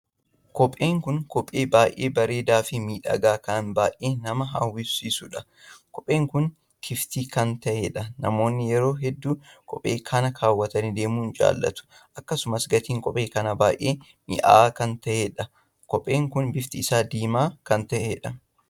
Kopheen kun kophee baay'ee bareedaa fi miidhagaa kan baay'ee nama hawwisiisuudha. kopheen kun kiftii kan taheedha. namoonni yeroo hedduu kophee kana kaawwatanii deemuu jaallatu. akkasumas gatiin kophee kanaa baay'ee minya'a kan taheedha. kopheen kun bifti isaa diimaa kan taheedha.